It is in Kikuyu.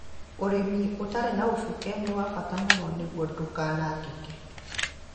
Ũrĩmi ũtarĩ na ũcuke nĩ wa bata mũno nĩguo ndũkanangĩke